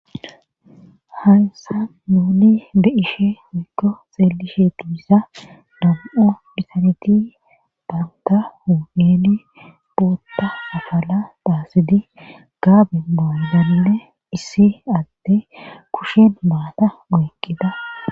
Hansa nuuli be ishe mikko xeeli sheetibisa nam7o dhisaneti baanta hu7eni bootta afala daasidi gaabi bolbalile issi atte kushin baata woeqqida